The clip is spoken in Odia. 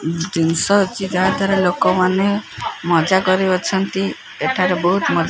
ଜିନିଷ ତାର ତାର ଲୋକମାନେ ମଜା କରୁ ଅଛନ୍ତି ଏଠାରେ ବହୁତ୍ ମସ୍ତି।